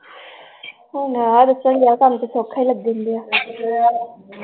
ਤੁਹਾਨੂੰ ਤਾਂ ਸੌਖਾ ਹੀ ਲੱਗਣ ਡਿਯਾ